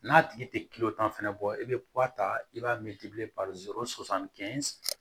N'a tigi tɛ tan fɛnɛ bɔ i bɛ ta i b'a